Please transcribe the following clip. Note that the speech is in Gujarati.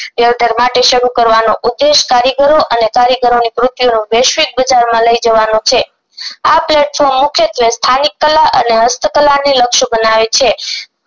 દેવધારમારતે શરૂ કરવાનો ઉદેશ કારીગરો અને કારીગરો ની વૈશ્વિક પ્રચાર માં લઈ જવાનો છે આ platform મુખ્યત્વે સ્થાનિક કળા અને હસ્તકળા ને લક્ષ બનાવે છે